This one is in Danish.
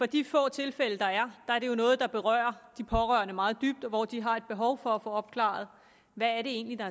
de få tilfælde der er er det jo noget der berører de pårørende meget dybt og de har behov for at få opklaret hvad det egentlig er